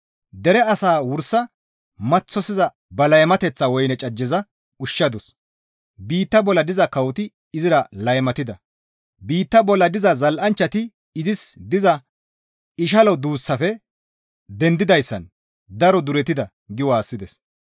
Dere asaa wursa maththosiza ba laymateththa woyne cajjeza ushshadus; biitta bolla diza kawoti izira laymatida; biitta bolla diza zal7anchchati izis diza ishalo duussaafe dendidayssan daro duretida» gi waassides.